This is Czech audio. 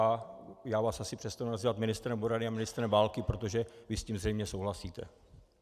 A já vás asi přestanu nazývat ministrem obrany ale ministrem války, protože vy s tím zřejmě souhlasíte.